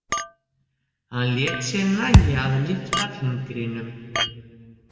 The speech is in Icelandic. Hann lét sér nægja að lyfta fingrinum.